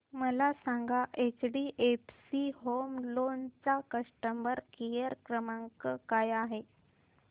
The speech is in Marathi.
मला सांगा एचडीएफसी होम लोन चा कस्टमर केअर क्रमांक काय आहे